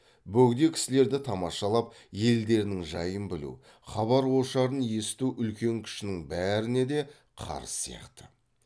бөгде кісілерді тамашалап елдерінің жайын білу хабар ошарын есіту үлкен кішінің бәріне де қарыз сияқты